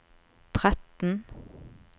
tretten